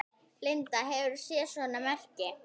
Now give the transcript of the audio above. Linda: Hefurðu séð svona merki?